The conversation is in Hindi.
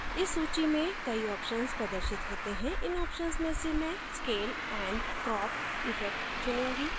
इस सूची में कई options प्रदर्शित होते हैं इन options में से मैं scale and crop effect चुनूँगी